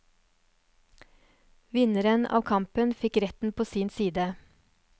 Vinneren av kampen fikk retten på sin side.